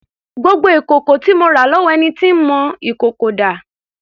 Gbogbo ìkòkò tí mo rà lọ́wọ́ ẹni tó ń mọ ìkòkò dà?